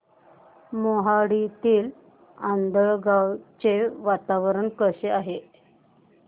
मोहाडीतील आंधळगाव चे वातावरण कसे आहे